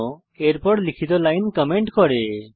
চিহ্ন এর পর লিখিত লাইন কমেন্ট করে